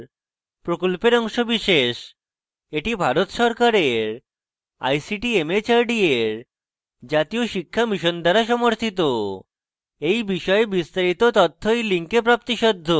এটি ভারত সরকারের ict mhrd এর জাতীয় শিক্ষা mission দ্বারা সমর্থিত এই বিষয়ে বিস্তারিত তথ্য এই লিঙ্কে প্রাপ্তিসাধ্য